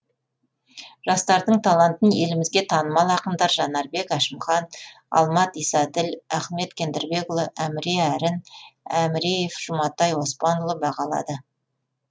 жастардың талантын елімізге танымал ақындар жанарбек әшімхан алмат исаділ ахмет кендірбекұлы әміре әрін әміреев жұматай оспанұлы бағалады